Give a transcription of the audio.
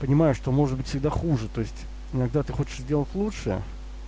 понимаю что может быть всегда хуже то есть иногда ты хочешь сделать лучше